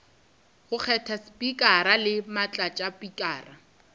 go kgetha spikara le motlatšaspikara